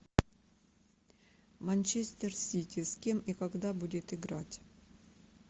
манчестер сити с кем и когда будет играть